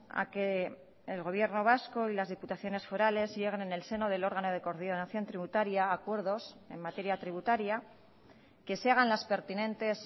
a que el gobierno vasco y las diputaciones forales lleguen en el seno del órgano de coordinación tributaria a acuerdos en materia tributaria que se hagan las pertinentes